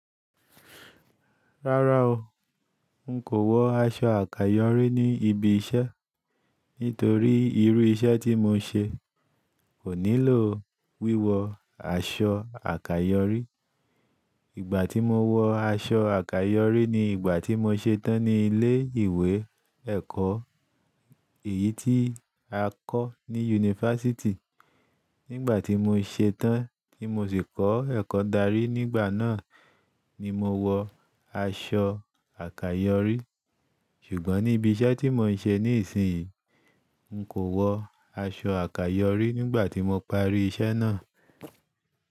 Rárá o, n kò wọ aṣọ àkàyọrí ní ibi iṣẹ́ nítorí irú iṣẹ́ tí mo ń ṣe kò nílò wíwọ aṣọ àkàyọrí. Ìgbà tí mo wọ aṣọ àkàyọrí ni ìgbà tí mo ṣe tán ní ilé ìwé ẹ̀kọ́, èyí tí a kọ́ ní yunifásítì. Nígbà tí mo ṣe tán tí mo sì kọ́ ẹ̀kọ́ darí nígbà náà ni mo wọ aṣọ àkàyọrí. Ṣùgbọ́n ní ibi iṣẹ́ tí mo ń ṣe níìsín yìí, n kò wọ aṣọ àkàyọrí nígbà tí mo parí iṣẹ́ náà.